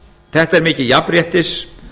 þetta er mikið jafnréttis